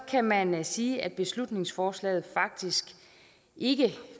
kan man sige at beslutningsforslaget faktisk ikke